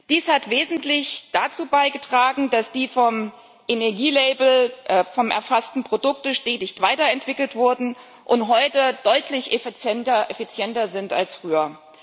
Dies hat wesentlich dazu beigetragen, dass die vom Energielabel erfassten Produkte stetig weiter entwickelt worden sind und heute deutlich effizienter sind als früher.